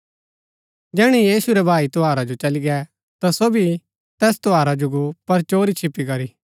जैहणै यीशु रै भाई त्यौहारा जो चली गै ता सो भी तैस त्यौहारा जो गो पर चोरी छिपी करी